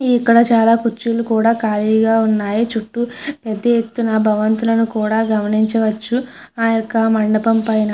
ఇక్కడ చాల కుర్చీలు కూడా కలిగే ఉన్నాయి చుట్టూ పెద్ద ఎత్తున భవంతులు గమనించవచ్చు ఆ యెక్క మండపం పైన --